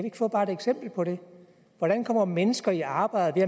ikke få bare ét eksempel på det hvordan kommer mennesker i arbejde